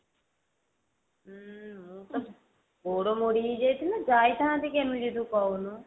ଉଁ ମୁ ତ ଗୋଡ ମୋଡି ହେଇଯାଇଥିଲା ଯାଇଥାନ୍ତି କେମିତି ତୁ କହୁନୁ